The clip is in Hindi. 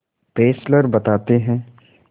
फेस्लर बताते हैं